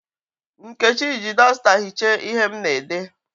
Nkechi ji dọsta hichaa ihe m na-ede.